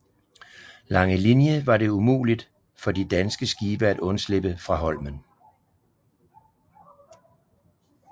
Langelinie var det umuligt for de danske skibe at undslippe fra Holmen